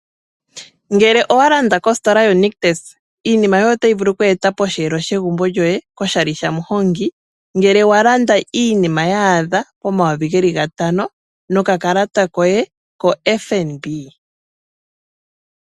Ngele owa landa kositola yo Nictus iinima yoye otayi vulu oku etwa posheelo shegumbo lyoye koshali shamu hongi. Ngele wa landa iinima yaadha pomayovi geli ga tano noka kalata koye ko FNB.